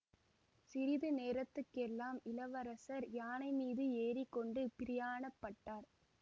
சிறிது நேரத்துக் கெல்லாம் இளவரசர் யானைமீது ஏறி கொண்டு பிரயாணப்பட்டார்